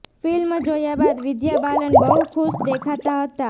film જોયા બાદ વિદ્યા બાલન બહુ ખુશ દેખાતા હતાં